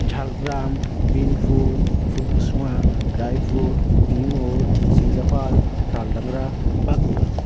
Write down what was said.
Jhargram Binpur Phulkusuma Raipur Bimur Simlapal Taldangra Bankura.